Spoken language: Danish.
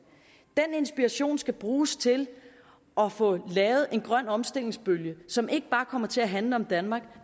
inspiration skal bruges til at få lavet en grøn omstillingsbølge som ikke bare kommer til at handle om danmark